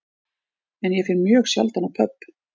En ég fer mjög sjaldan á pöbb